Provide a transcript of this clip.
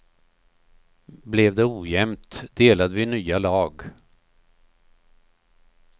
Blev det ojämnt delade vi nya lag.